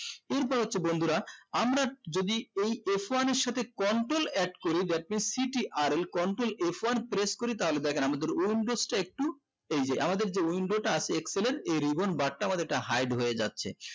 এরপর হচ্ছে বন্ধুরা আমরা যদি এই f one এর সাথে control add করি that means ctrl control f one press করি তাহলে দেখেন আমাদের windows টা একটু এই যে আমাদের যে window টা আছে excel এর এই ribbon bar টা আমাদের টা hide হয়ে যাচ্ছে